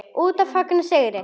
Úti að fagna sigri.